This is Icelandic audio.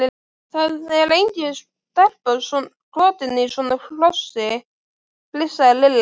Það er engin stelpa skotin í svona hrossi! flissaði Lilla.